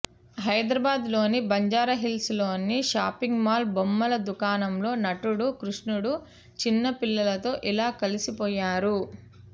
హైదరాబాదులోని బంజారాహిల్స్లోని shopping mall బొమ్మల దుకాణంలో నటుడు కృష్ణుడు చిన్న పిల్లలతో ఇలా కలిసిపోయారు